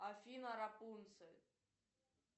афина рапунцель